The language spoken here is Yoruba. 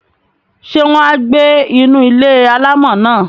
Ṣé wọn á gbé inú ilé-alámọ̀ náà?